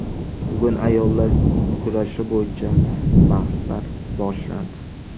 Bugun ayollar kurashi bo‘yicha bahslar boshlandi.